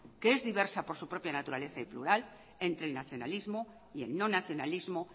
que es diversa por su propia naturaleza y plural entre el nacionalismo y el no nacionalismo